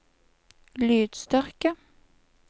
lydstyrke